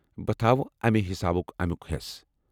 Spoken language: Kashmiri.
بہٕ تھاوٕ امہِ حسابہٕ امیُک حیٚس ۔